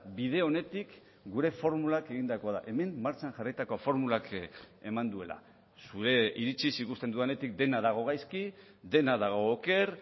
bide onetik gure formulak egindakoa da hemen martxan jarritako formulak eman duela zure iritziz ikusten dudanetik dena dago gaizki dena dago oker